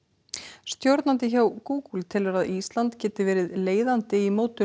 stjórnandi hjá Google telur að Ísland geti verið leiðandi í mótun